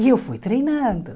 E eu fui treinando.